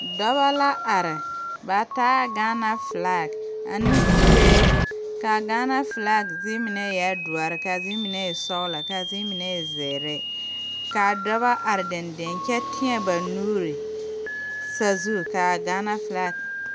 Dɔba la are ba taa Gaana filag ane kuree kaa Gaana filag zeere mine eɛɛ doɔ kaa zeere e sɔglɔ kaa zeere mine e zēēre kaa dɔba are deŋdeŋ kyɛ teɛ ba nuuri sazu kaa Gaana filag.